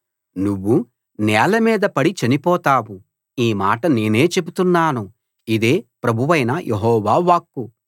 నువ్వు నేల మీద పడి చనిపోతావు ఈ మాట నేనే చెబుతున్నాను ఇదే ప్రభువైన యెహోవా వాక్కు